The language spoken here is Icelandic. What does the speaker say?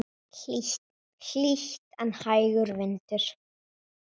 Hlýtt en hægur vindur.